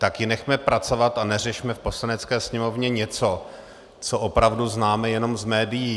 Tak ji nechme pracovat a neřešme v Poslanecké sněmovně něco, co opravu známe jenom z médií.